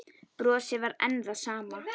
Brosið var enn það sama.